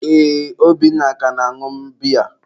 ee, Obinna ka na-añụ biya.